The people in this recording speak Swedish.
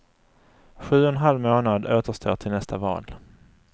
Sju och en halv månad återstår till nästa val.